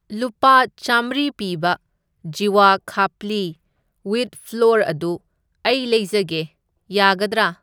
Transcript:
ꯂꯨꯄꯥ ꯆꯥꯝꯃ꯭ꯔꯤ ꯄꯤꯕ ꯖꯤꯋꯥ ꯈꯄ꯭ꯂꯤ ꯋꯤꯠ ꯐ꯭ꯂꯣꯔ ꯑꯗꯨ ꯑꯩ ꯂꯩꯖꯒꯦ ꯌꯥꯒꯗ꯭ꯔꯥ?